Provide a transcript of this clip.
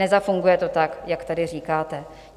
Nezafunguje to tak, jak tady říkáte.